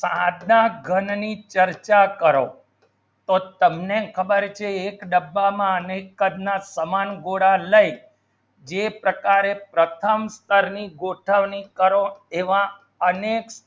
ઘનની ચર્ચા કરો તો તમને ખબર છે એક ડબ્બામાં અનેક કદના તમામ ગોળા લઇ જે પ્રકારે પ્રથમ સ્તરની ગોઠવણી કરો એવા અનેક